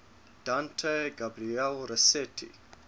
dante gabriel rossetti